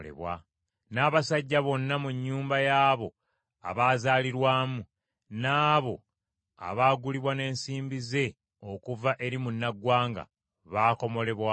N’abasajja bonna mu nnyumba y’abo abazaalirwamu n’abo abaagulibwa n’ensimbi ze okuva eri munnaggwanga, baakomolebwa wamu naye.